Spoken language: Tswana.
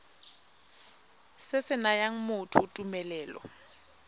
se se nayang motho tumelelo